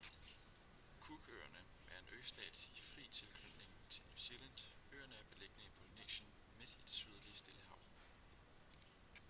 cook-øerne er en østat i fri tilknytning til new zealand øerne er beliggende i polynesien midt i det sydlige stillehav